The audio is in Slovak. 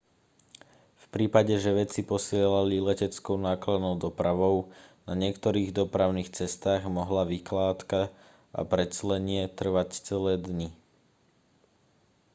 v prípade že veci posielali leteckou nákladnou dopravou na niektorých dopravných cestách mohla vykládka a preclenie trvať celé dni